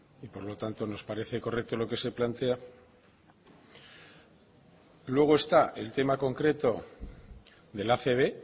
y por lo tanto nos parece correcto lo que se plantea luego está el tema concreto de la acb